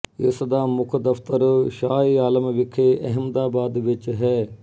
ਇਸ ਦਾ ਮੁੱਖ ਦਫ਼ਤਰ ਸ਼ਾਹਏਆਲਮ ਵਿਖੇ ਅਹਿਮਦਾਬਾਦ ਵਿੱਚ ਹੈ